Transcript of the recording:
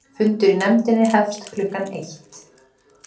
Fundur í nefndinni hefst klukkan eitt